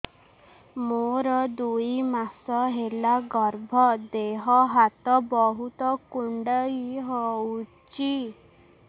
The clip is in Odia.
ମୋର ଦୁଇ ମାସ ହେଲା ଗର୍ଭ ଦେହ ହାତ ବହୁତ କୁଣ୍ଡାଇ ହଉଚି